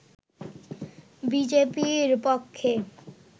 বিজেপির পক্ষে